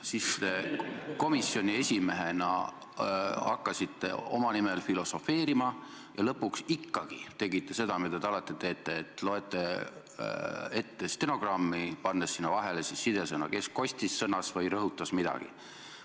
Siis te komisjoni esimehena hakkasite oma nimel filosofeerima ja lõpuks ikkagi tegite seda, mida te alati teete, et loete ette stenogrammi, pannes sinna vahele siduvad sõnad, kes kostis, sõnas või rõhutas midagi.